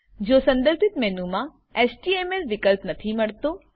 જો સંદર્ભીત મેનુ મા એચટીએમએલ વિકલ્પ નથી મળતો